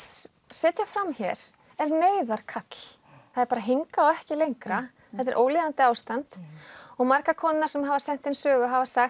setja fram hér er neyðarkall það er bara hingað og ekki lengra þetta er ólíðandi ástand og margar konurnar sem hafa sett inn sögu hafa sagt